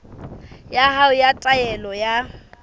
ya hao ya taelo ya